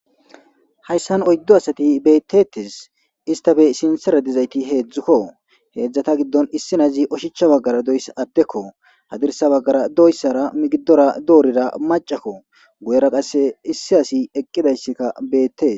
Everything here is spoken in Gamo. hayssan oyddo asati beettetis istafe sinsera dizayti heedzdzukko heedzdzata giddon issinazi oshicha baggara doysa addekko hadirsa baggara doyssara migidora doorida macakko goyera qasse issi asi eqqidayssikka beettee